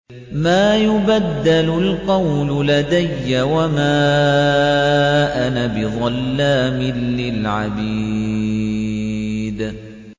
مَا يُبَدَّلُ الْقَوْلُ لَدَيَّ وَمَا أَنَا بِظَلَّامٍ لِّلْعَبِيدِ